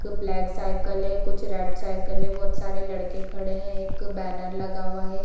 एक black cycle है कुछ रेड साइकिल है बोहत सारे लड़के खड़े हैं एक बैनर लगा हुआ है ।